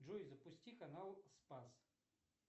джой запусти канал спас